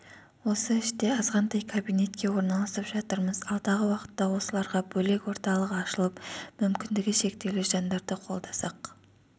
осы іште азғантай кабинетке орналасып жатырмыз алдағы уақытта осыларға бөлек орталық ашылып мүмкіндігі шектеулі жандарды қолдасақ